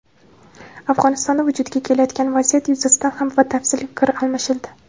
Afg‘onistonda vujudga kelayotgan vaziyat yuzasidan ham batafsil fikr almashildi.